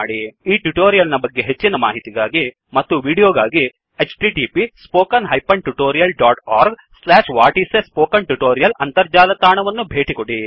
ಈ ಟ್ಯುಟೋರಿಯಲ್ ನ ಬಗ್ಗೆ ಹೆಚ್ಚಿನ ಮಾಹಿತಿಗಾಗಿ ಮತ್ತು ವೀಡಿಯೋಗಾಗಿ 1 ಅಂತರ್ಜಾಲ ತಾಣವನ್ನು ಭೇಟಿಕೊಡಿ